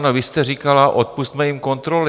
Ano, vy jste říkala, odpusťme jim kontroly.